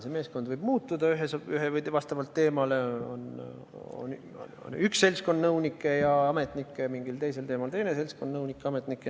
See meeskond võib muutuda vastavalt teemale, on üks seltskond nõunikke-ametnikke ja mingisuguse teise teema jaoks teine seltskond nõunikke-ametnikke.